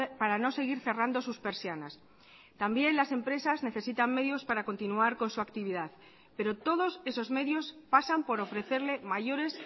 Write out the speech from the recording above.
para no seguir cerrando sus persianas también las empresas necesitan medios para continuar con su actividad pero todos esos medios pasan por ofrecerle mayores